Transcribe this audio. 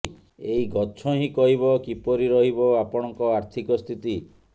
ଏହି ଗଛ ହିଁ କହିବ କିପରି ରହିବ ଆପଣଙ୍କ ଆର୍ଥିକ ସ୍ଥିତି